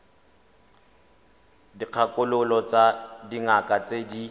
dikgakololo tsa dingaka tse di